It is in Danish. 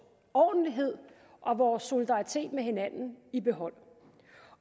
ordentlighed og vores solidaritet med hinanden i behold